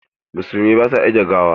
Musulmai ba su ajiye gawa.